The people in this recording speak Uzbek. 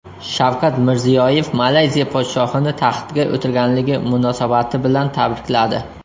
Shavkat Mirziyoyev Malayziya podshohini taxtga o‘tirganligi munosabati bilan tabrikladi.